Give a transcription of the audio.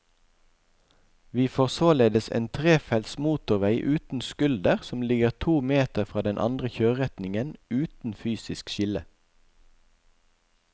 Vi får således en trefelts motorvei uten skulder som ligger to meter fra den andre kjøreretningen, uten fysisk skille.